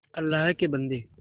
अल्लाह के बन्दे